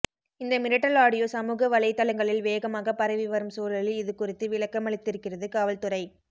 இந்த மிரட்டல் ஆடியோ சமூக வலைதளங்களில் வேகமாக பரவிவரும் சூழலில் இது குறித்து விளக்கமளித்திருக்கிறது காவல்துறை